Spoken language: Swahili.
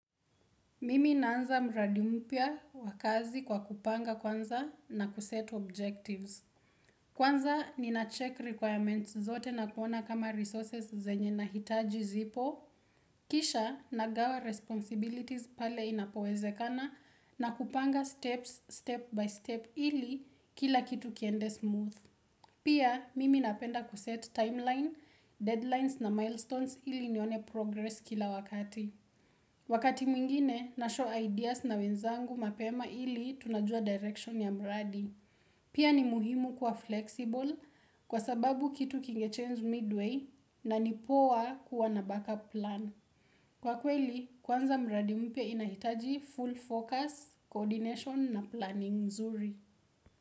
Mimi naanza mradi mpya wa kazi kwa kupanga kwanza na kuset objectives. Kwanza ni na check requirements zote na kuona kama resources zenye nahitaji zipo. Kisha nagawa responsibilities pale inapowezekana na kupanga steps step by step ili kila kitu kiende smooth. Pia mimi napenda kuset timeline, deadlines na milestones ili nione progress kila wakati. Wakati mwingine na show ideas na wenzangu mapema ili tunajua direction ya mradi. Pia ni muhimu kuwa flexible kwa sababu kitu kingechange midway na ni poa kuwa na backup plan. Kwa kweli, kwanza mradi mpya inahitaji full focus, coordination na planning mzuri.